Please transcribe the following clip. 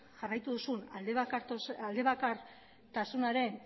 jarraitu duzun aldebakartasunaren